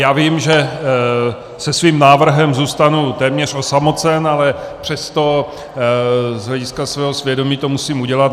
Já vím, že se svým návrhem zůstanu téměř osamocen, ale přesto z hlediska svého svědomí to musím udělat.